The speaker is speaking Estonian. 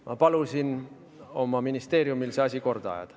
Ma palusin oma ministeeriumil see asi korda ajada.